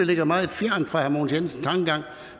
ligger meget fjernt fra herre mogens jensens tankegang